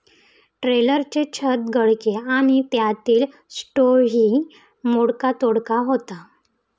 ट्रेलरचे छत गळके आणि त्यातील स्टोव्हही मोडकातोडका होता.